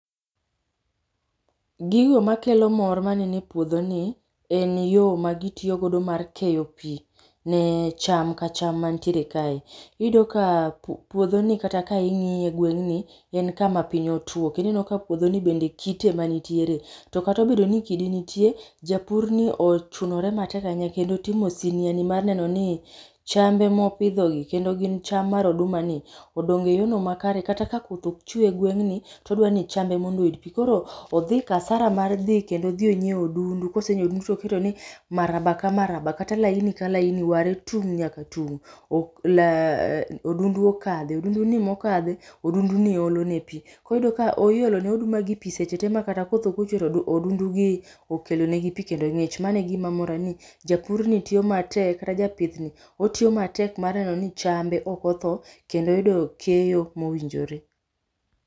Gigo makelo mor manene puodhoni en yo magitiyogodo mar keyo pi ne cham ka cham mantiere kae. Iyudo ka puodhoni kata ka ing'iye e gweng'ni en kama piny otuo kendo ineno ka puodhoni be kite emanitiere to kata obedo ni kidi nitie, japurni ochunore matek ahinya kendo otimo siniani mar neno ni chambe mopidho gi kendo gin cham mar odumani odongo e yor makare kata ka koth okchwe e gweng'ni to odwa ni chambe mondo oyud pi koro odhi kasara mar dhi kendo odhi onyieo odundu kosenyieo odundo to oketo ni maraba ka maraba kata laini ka laini ware tung' nyaka tung' odundu okadhe. Odunduni mokadhe odunduni olone pi. Koro iyudo ka iolone odumagi pi seche te ma kata koth okochwe to odundugi okelonegi pi kendo ng'ich mano e gima mora ni japurni tiyo matek kata japithni otiyo matek mar neno ni chambe ok otho kendo oyudo keyo mowinjore.